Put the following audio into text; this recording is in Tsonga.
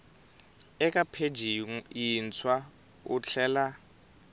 eka pheji yintshwa u tlhela